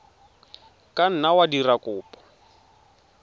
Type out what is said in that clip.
ka nna wa dira kopo